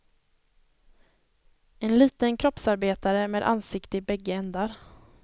En liten kroppsarbetare med ansikte i bägge ändar.